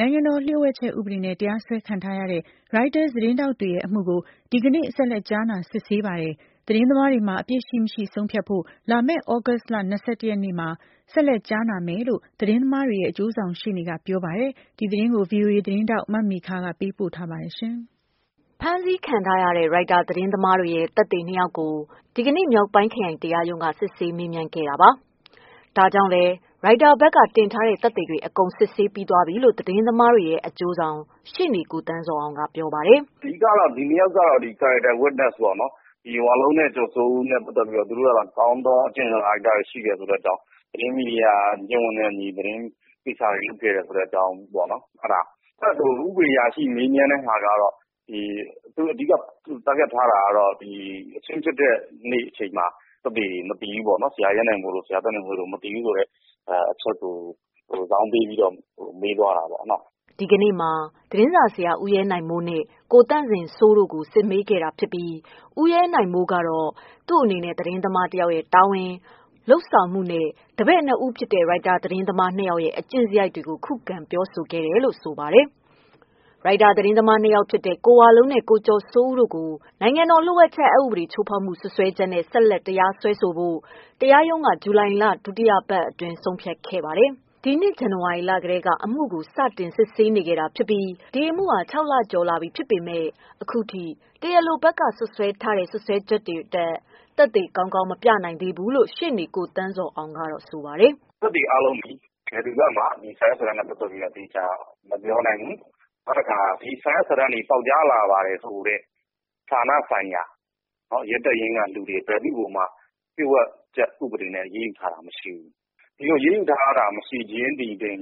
နိုင်ငံတော်လ ျှို့ဝှက်ချက်ဥပဒေနဲ့ တရားစွဲခံထားရတဲ့ Reuters သတင်းထောက်တွေရဲ့အမှုကို ဒီနေ့ဆက်လက် ကြားနာ စစ်ဆေးပါတယ်။ သတင်းသမားတွေမှာ အပြစ်ရှိမရှိ ဆုံးဖြတ်ဖို့ လာမယ့်သြဂုတ်လ၂၀ရက်နေ့မှာ ဆက်လက်ကြားနာမယ်လို့ သတင်းသမားတွေရဲ့ အကျိုးဆောင်ရှေ့နေက ပြောပါတယ်။ ဒီသတင်းကို ဗွီအိုအေသတင်းထောက်မေခက ပေးပို့ထားပါတယ်။ ဖမ်းဆီးခံထားရတဲ့ ရိုက်တာသတင်းသမားတွေရဲ့သက်သေ၂ ယောက်ကို ဒီနေ့ မြောက်ပိုင်းခရိုင်တရားရုံးက စစ်ဆေးမေးမြန်းခဲ့ပါတယ်။ ဒါကြောင့်လည်း ရိုက်တာဘက်ကတင်ထားတဲ့ သက်သေတွေ အကုန်စစ်ဆေး ပြီးသွားပြီလို့ သတင်းသမားတွေရဲ့ အကျိုးဆောင် ရှေ့နေ ကိုသန်းဇော်အောင်က ပြောပါတယ်။ "အဓိက ဒီနှစ်ယောက်က ကာယကံတွေရဲ့ သက်သေတွေပေါ့။ ဒီဝလုံးနဲ့ ကျော်စိုးဦးတို့ဟာ ကောင်းသော အကျင့်စာရိတ္တ ရှိသူဖြစ်တယ်။ မီဒီယာကျင့်ဝတ်နဲ့အညီ အလုပ်လုပ်ကိုင်နေတဲ့အကြောင်း အဲဒါပေါ့။ တဖက်ဥပဒေအရာရှိကတော့ အချင်းဖြစ်တဲ့နေ့မှာ ဒီနေ့သက်သေထွက်ဆိုတဲ့ သူတွေ မရှိခဲ့ဘူး ဆိုတာကို ဇောင်းပေးပြောသွားတယ်" ဒီကနေ့မှာ သတင်းစာဆရာဦးရဲနိုင်မိုးနဲ့ ကိုသန့်ဇင်စိုးတို့ကို စစ်မေးခဲ့တာဖြစ်ပြီး ဦးရဲနိုင်မိုးကတော့ သူ့အနေနဲ့ သတင်းသမားတယောက်တာဝန်၊ လုပ်ဆောင်မှုနဲ့ တပည့်နှစ်ဦးဖြစ်တဲ့ ရိုက်တာသတင်းသမား၂ဦးရဲ့ အကျင့်စရိုက်တွေကို ခုခံဖြေဆိုခဲ့တယ်လို့ဆိုပါတယ်။ ရိုက်တာသတင်းသမားနှစ်ယောက်ဖြစ်တဲ့ ကိုဝလုံးနဲ့ကိုကျော်စိုးဦးတို့ကို နိုင်ငံတော်လ ျှို့ဝှက်ချက် အက်ဥပဒေ ချိုးဖောက်မှုစွပ်စွဲချက်နဲ့ ဆက်လက်တရားစွဲဆိုဖို့ တရားရုံးက ဂျုလိုင်လ ဒုတိယပတ်အတွင်း ဆုံးဖြတ်ခဲ့ပါတယ်။ ဒီနှစ်ဇန်နဝါရီလကတည်းက အမှုကို စတင်စစ်ဆေးခဲ့ပြီး ဒီအမှုဟာ၆လ ကျော်လာခဲ့ပေမယ့် အခုထိ တရားလိုဘက်က စွပ်စွဲထားတဲ့စွပ်စွဲချက်တွေအတွက် သက်သေကောင်းကောင်း မပြနိုင်ခဲ့ဘူးလို့ ရှေ့နေကိုသန်းဇော်အောင် ကတော့ဆိုပါတယ်။ "သက်သေအားလုံးသည် ဒီစာရွက်စာတမ်းတွေနဲ့ပတ်သတ်ပြီးသေချာ မပြောနိုင်ဘူး။ နောက်တခါ ဒီစာရွက်စာတမ်းတွေ ပေါက်ကြားလာပါတယ်ဆိုတဲ့ ဌာနဆိုင်ရာ ရဲတပ်ဖွဲ့တွေ အနေနဲ့ ဘယ်သူ့ကိုမှ လ ျှို့ဝှက်ချက်ဥပဒေနဲ့ အရေးယူတာမရှိဘူး။ ဒီလို အရေးယူတာ မရှိခြင်းပင်လ ျှင်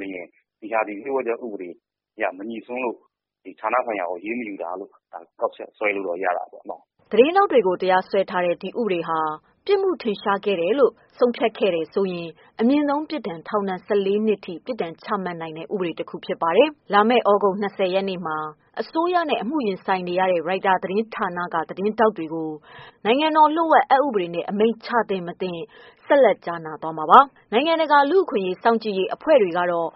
ဒီဟာသည်လ ျှို့ဝှက်တဲ့ ဥပဒေအရ မငြိစွန်းလို့ အရေးယူတာ မရှိတာလို့ ကောက်ချက်ဆွဲလို့ရတာပေါ့" သတင်းထောက်တွေကို တရားစွဲထားတဲ့ ဒီဥပဒေဟာ ပြစ်မှုထင်ရှားတယ်လို့ ဆုံးဖြတ်ခဲ့ရင်အမြင့်ဆုံး ထောင်ဒဏ် ၁၄ နှစ်ထိ ပြစ်ဒဏ်ချမှတ်နိုင်တဲ့ ဥပဒေတခုဖြစ်ပါတယ်။လာမယ့်လာမယ့်သြဂုတ် ၂၀ရက်နေ့မှာ အစိုးရနဲ့အမှုရင်ဆိုင်နေရတဲ့ ရိုက်တာသတင်းဌာန သတင်းထောက်တွေကို နိုင်ငံတော်လ ျှို့ဝှက်အက်ဥပဒေနဲ့ အမိန့်ချသင့်မသင့် ဆက်လက်ကြားနာသွားမှာ ဖြစ်ပါတယ်။ နိုင်ငံတကာ လူ့အခွင့်အရေးစောင့်ကြည့်ရေး အဖွဲ့တွေကတော့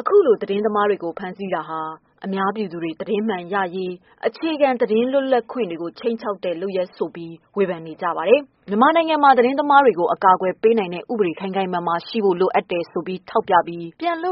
အခုလို သတင်းသမားတွေကို ဖမ်းဆီးတာဟာ အများပြည်သူတွေ သတင်းမှန်ရရေး အခြေခံလွတ်လပ်ခွင့်တွေကို ခြိမ်းခြောက်တဲ့ လုပ်ရပ်ဆိုပြီး ဝေဖန်နေကြပါတယ်။ မြန်မာနိုင်ငံမှာသတင်းသမားတွေကို အကာအကွယ်ပေးနိုင်တဲ့ ဥပဒေ ခိုင်ခိုင်မာမာရှိဖို့ လိုအပ်တယ်ဆိုပြီး ထောက်ပြပြီး ပြန်လွှတ်